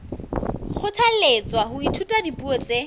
kgothalletswa ho ithuta dipuo tse